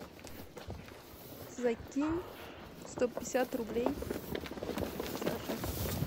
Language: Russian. закинь сто пятьдесят рублей саше